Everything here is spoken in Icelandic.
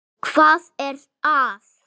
. hvað er að.